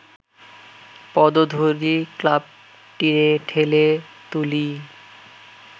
পদধূলি ক্লাবটিরে ঠেলে তুলি